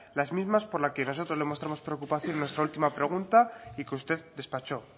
las mismas por las que nosotros mostramos nuestra preocupación en nuestra última pregunta y que usted despachó